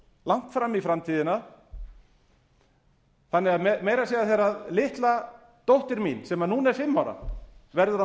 langt fram í framtíðina þannig að meira að segja þegar litla dóttir mín sem núna er fimm ára verður á